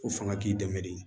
Ko fanga k'i dɛmɛ de